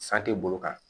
San tɛ boli kan